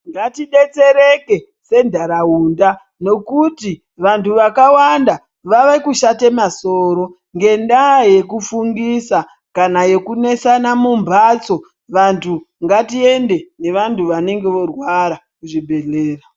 Ngatidetsereke senharaunda ngekuti vantu vakawanda vakushate masoro ngekuti ndaa yekufungisa kana yekunesana mumhatso. Vantu ngatiende nevantu vanenge voorwara kuzvibhedhlera.